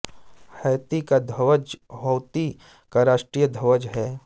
Haiti का ध्वज Haiti का राष्ट्रीय ध्वज है